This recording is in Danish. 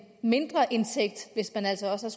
mindre indtægt hvis man altså også